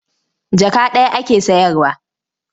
Jaka ɗaya ake sayarwa.